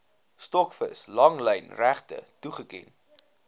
stokvis langlynregte toegeken